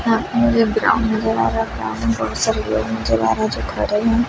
यहां पे मुझे ग्राउंड नजर आ रहा ग्राउंड में बहुत सारे लोग नजर आ रहा जो खड़े हैं।